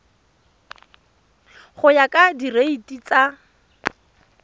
go ya ka direiti tsa